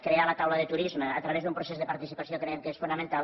crear la taula de turisme a través d’un procés de participació creiem que és fonamental